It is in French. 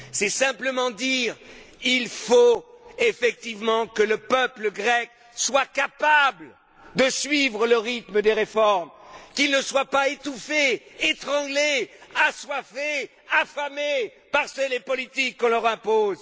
C'est simplement dire qu'il faut effectivement que le peuple grec soit capable de suivre le rythme des réformes, qu'il ne soit pas étouffé, étranglé, assoiffé, affamé par ces politiques qu'on leur impose.